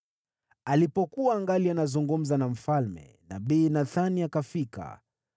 Alipokuwa angali anazungumza na mfalme, nabii Nathani akafika.